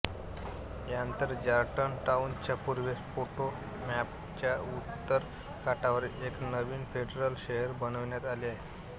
यानंतर जॉर्जटाउनच्या पूर्वेस पोटोमॅकच्या उत्तर काठावर एक नवीन फेडरल शहर बनविण्यात आले